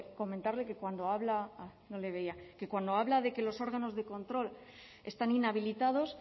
comentarle que cuando habla no le veía que cuando habla de que los órganos de control están inhabilitados